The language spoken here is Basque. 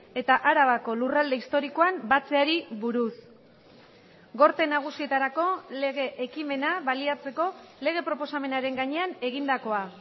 eta arabako lurralde historikoan batzeari buruz gorte nagusietarako lege ekimena baliatzeko lege proposamenaren gainean egindakoa